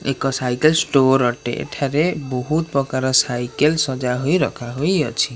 ଏକ cycle store ଅଟେ ଏଠାରେ ବହୁତ ପ୍ରକାର ସାଇକେଲ ସଜ୍ଜା ହୋଇ ରଖା ହୋଇଅଛି।